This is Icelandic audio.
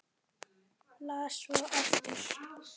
Las svo aftur.